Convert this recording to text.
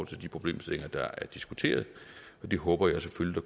til de problemstillinger der er diskuteret og det håber jeg selvfølgelig